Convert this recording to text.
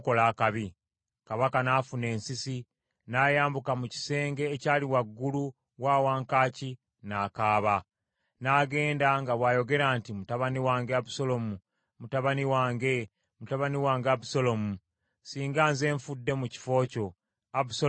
Kabaka n’afuna ensisi, n’ayambuka mu kisenge ekyali waggulu wa wankaaki, n’akaaba. N’agenda nga bw’ayogera nti, “Mutabani wange Abusaalomu, mutabani wange, mutabani wange Abusaalomu. Singa nze nfudde mu kifo kyo, Abusaalomu, mutabani wange!”